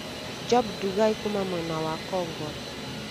Job Ndugai kuuma mwena wa Kongwa.